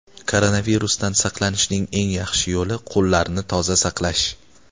Koronavirusdan saqlanishning eng yaxshi yo‘li - qo‘llarni toza saqlash.